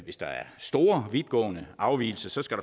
hvis der er store vidtgående afvigelser skal